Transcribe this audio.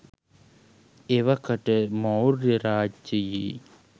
එවකට මෞර්ය රාජ්‍යයේ